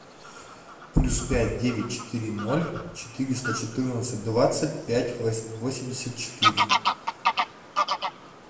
плюс пять девять четыре ноль четыреста четырнадцать двадцать пять восемьдесят четыре